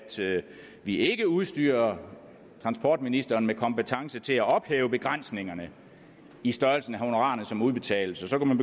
vi ikke udstyrer transportministeren med kompetence til at ophæve begrænsningerne i størrelsen af de honorarer som udbetales så kunne